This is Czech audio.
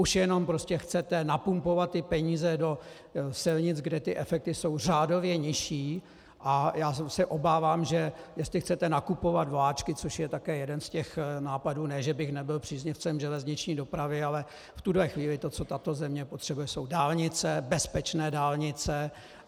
Už jenom prostě chcete napumpovat ty peníze do silnic, kde ty efekty jsou řádově nižší, a já se obávám, že jestli chcete nakupovat vláčky, což je také jeden z těch nápadů, ne že bych nebyl příznivcem železniční dopravy, ale v tuto chvíli to, co tato země potřebuje, jsou dálnice, bezpečné dálnice.